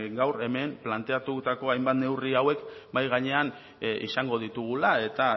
gaur hemen planteatutako hainbat neurri hauek mahai gainean izango ditugula eta